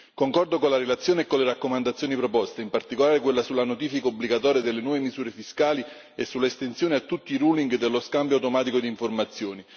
Concordo con la relazione e con le raccomandazioni proposte, in particolare quella sulla notifica obbligatoria delle nuove misure fiscali e sull'estensione a tutti i ruling dello scambio automatico di informazioni.